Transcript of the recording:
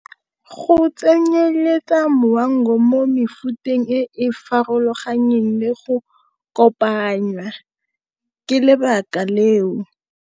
Go tsenyeletsa mo mefuteng e farologaneng le go kopanya ke lebaka leo.